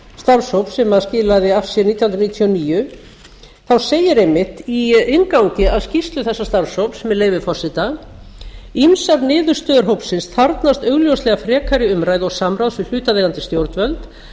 starfshóp sem skilaði af sér nítján hundruð níutíu og níu segir einmitt í inngangi að skýrslu þessa starfshóps með leyfi hæstvirts forseta ýmsar niðurstöður hópsins þarfnast augljóslega frekari umræðu og samráðs við hlutaðeigandi stjórnvöld